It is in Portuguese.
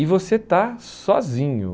E você está sozinho.